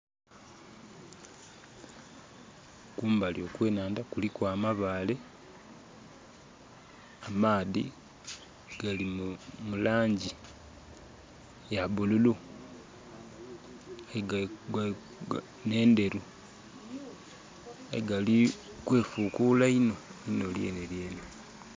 Kumbali okwe nhandha kuliku amabaale, amaadhi gali mu langi ya bululu nhe ndheru nga gali kwefukuula iinho, inho lyenhelyenhe.